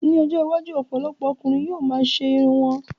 Ní ọjọ́ iwájú, ọ̀pọ̀lọpọ̀ ọkùnrin yóò ma ṣe irun wọn